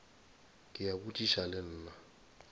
ke a botšiša le nna